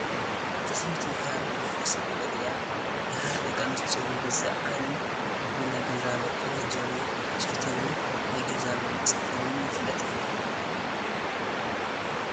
እዛ ሰበይቲ ናይ ሃረሪ ብሄረሰብ ወገን እያ፡፡ ናይ ሓረር ደቂ ኣንስትዮ ብብዛዝኣንን ብናይ ገዛ መቆናጀዊ ስፌታተንን ናይ ገዛ መንፀፈንን ይፍለጣ፡፡